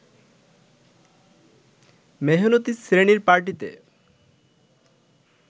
মেহনতি শ্রেণীর পার্টিতে